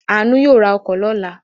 Aanu yóò ra ọkọ̀ lọ́la.